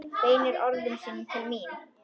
Beinir orðum sínum til mín.